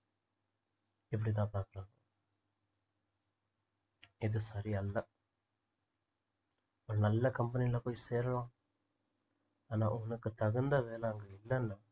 இப்படித்தான் பார்க்குறாங்க இது சரியல்ல ஒரு நல்ல company ல போய் சேரலாம் ஆனா உனக்கு தகுந்த வேலை அங்க இல்லைன்னா